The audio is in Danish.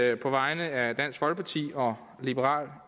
jeg på vegne af dansk folkeparti og liberal